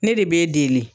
Ne de b'e deli